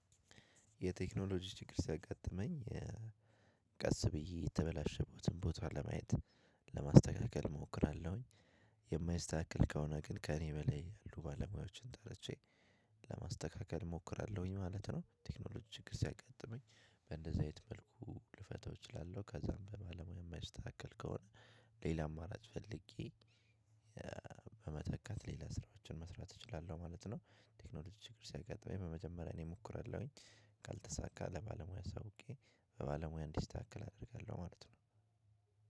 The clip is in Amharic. የቴክኖሎጂ ችግር ሲያጋጥመኝ ቀስ ብዬ የተበላሸበትን ቦታ ለማየት ለማስተካከል እሞክራለሁኝ የማይስተካከል ከሆነ ግን ከእኔ በላይ ያሉ ባለሙያዎችን ጠርቼ ለማስተካከል እሞክራለሁኝ ማለት ነው። ቴክኖሎጂ ችግር ሲያጋጥመኝ በእንደዚህ አይነት መልኩ ልፈታው እችላለሁ። ከዛም በባለሙያ የማይስተካከል ከሆነ ሌላ አማራጭ ፈልጌ በመተካት ሌላ ስራዎችን መስራት እችላለሁ ማለት ነው። ቴክኖሎጂ ችግር ሲያጋጥመኝ በመጀመሪያ እኔ ሞክራለሁኝ ካልተሳካ ለባለሙያ አሳውቄ በባለሙያ እንዲስተካከል አደርጋለሁ ማለት ነው።